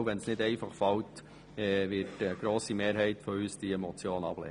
Selbst wenn es nicht einfach fällt, wird eine grosse Mehrheit unserer Fraktion diese Motion ablehnen.